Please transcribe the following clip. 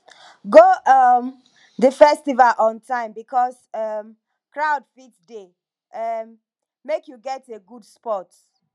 go um the festival on time because um crowd fit de um make you get a good spot